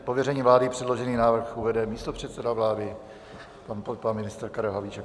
Z pověření vlády předložený návrh uvede místopředseda vlády pan ministr Karel Havlíček.